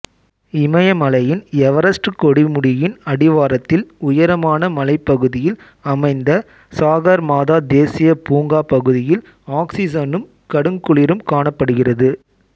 இமயமலையின் Everest கொடுமுடியின் அடிவாரத்தில் உயரமான மலைப் பகுதியில் அமைந்த சாகர்மாதா தேசியப் பூங்கா பகுதியில் ஆக்சிசனும் கடுங்குளிரும் காணப்படுகிறது